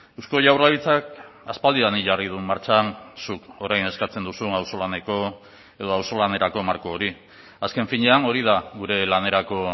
eusko jaurlaritzak aspaldidanik jarri du martxan zuk orain eskatzen duzun auzolaneko edo auzolanerako marko hori azken finean hori da gure lanerako